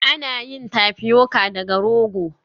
Ana yin Tapioca daga rogo